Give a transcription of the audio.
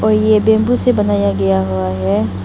ये बंबू से बनाया गया हुआ है।